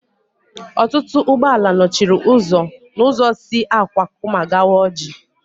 Ọtụtụ ụgbọala nọchiri ụzọ n'ụzọ si Akwakụma gawa Ọjị